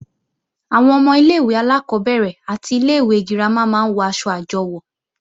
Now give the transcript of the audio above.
Àwọn ọmọ ilé-ìwé alákọ́bẹ̀rẹ̀ àti ilé-ìwé girama máa ń wọ̀ aṣọ àjọwò